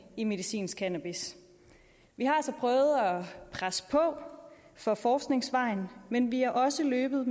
i medicinsk cannabis vi har så prøvet at presse på for forskningsvejen men vi har også løbet